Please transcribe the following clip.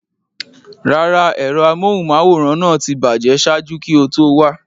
Rárá, ẹ̀rọ amóhùnmáwòrán náà ti bàjẹ́ ṣáájú kí o tó wá.